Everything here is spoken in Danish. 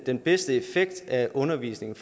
den bedste effekt af undervisningen